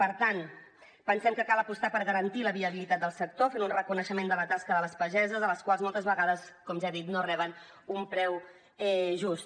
per tant pensem que cal apostar per garantir la viabilitat del sector fent un reconeixement de la tasca de les pageses les quals moltes vegades com ja he dit no reben un preu just